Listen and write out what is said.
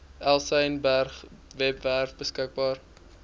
elsenburg webwerf beskikbaar